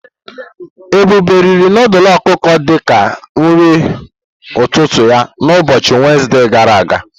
Ebube riri nudulu ọkụkọ di ka nri ụtụtụ ya na ụbọchị Wenezde gara aga.